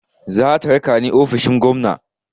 Zata raka ni ofishin gwamna.